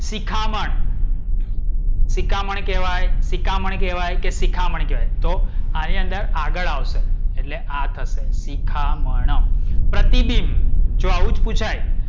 શિખામણ. શિકામન કહેવાય સીકામણ કહેવાય કે શિખામણ કહેવાય? તો આની અંદર આગડ આવશે એટ્લે આ થશે શિખામણ. પ્રતિબિંબ જો આવું જ